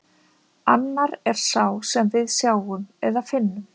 Annar er sá sem við sjáum eða finnum.